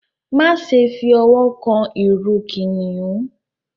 Máṣe fí òwò kán ìrù kìnìún!